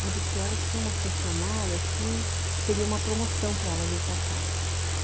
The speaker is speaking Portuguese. Mas o pior é que tem uma funcionária que seria uma promoção para ela vir para cá.